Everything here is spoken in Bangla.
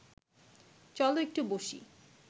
চল একটু বসি